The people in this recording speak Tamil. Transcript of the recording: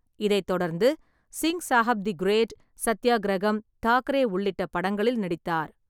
இதைத் தொடர்ந்து சிங் சாப் தி கிரேட், சத்தியாகிரகம், தாக்கரே உள்ளிட்ட படங்களில் நடித்தார்.